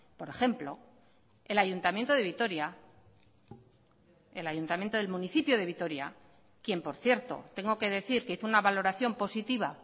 por ejemplo el ayuntamiento de vitoria el ayuntamiento del municipio de vitoria quien por cierto tengo que decir que hizo una valoración positiva